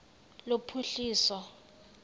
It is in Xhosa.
lophuhliso